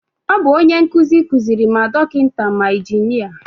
Ọ bu onye nkụzi kuziri ma dọkịta ma injinia